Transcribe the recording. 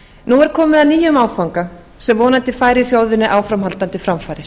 nú er komið að nýjum áfanga sem vonandi færir þjóðinni áframhaldandi framfarir